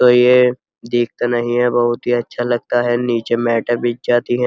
तो ये दीखता नहीं है। बहुत ही अच्छा लगता है। नीचे मैंटे बिछ जाती हैं।